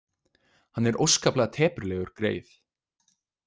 Hann er óskaplega teprulegur greyið.